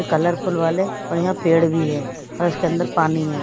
Colourful वाले और यहाँ पेड़ भी है और इसके अंदर पानी है।